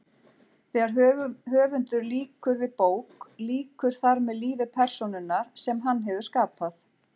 Þegar höfundur lýkur við bók lýkur þar með lífi persónunnar sem hann hefur skapað.